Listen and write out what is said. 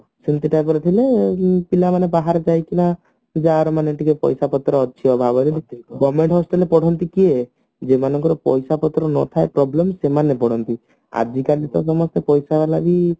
ସେମିତି type ର ଥିଲେ ପିଲାମାନେ ବାହାର ଯାଇକିନା ଯାହାର ମାନେ ଟିକେ ପଇସାପତ୍ର ଅଛି ଅଭାବ ବୁଝୁଛକି ତ government hostel ରେ ପଢନ୍ତି କିଏ ଯେଉଁ ମାନଙ୍କର ପଇସାପତ୍ର ନଥାଏ problem ସେମାନେ ପଢନ୍ତି ଆଜିକାଲି ତ ସମସ୍ତେ ପଇସା ବାଲା ବି